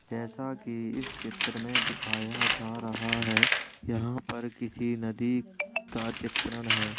जैसा कि इस चित्र में दिखाया जा रहा है यहाँ पर किसी नदी का चित्रण है।